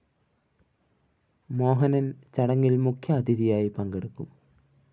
മോഹനന്‍ ചടങ്ങില്‍ മുഖ്യാതിഥിയായി പങ്കെടുക്കും